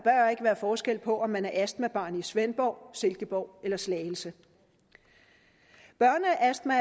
være forskel på om man er astmabarn i svendborg silkeborg eller slagelse børneastma